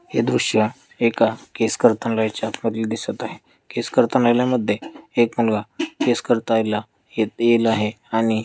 हे दृश्य एका केस कर्तनलयच्या दिसत आहे करतानालयामध्ये एक माणूस केस करतायला ये-येल आहे आणि--